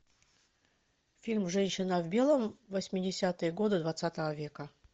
фильм женщина в белом восьмидесятые годы двадцатого века